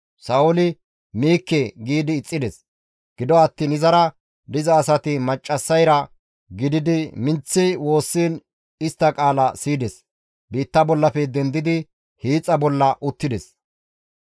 Sa7ooli, «Miikke» giidi ixxides. Gido attiin izara diza asati maccassayra gididi minththi woossiin istta qaala siyides; biitta bollafe dendidi hiixa bolla uttides.